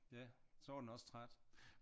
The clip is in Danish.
Ja så var den også træt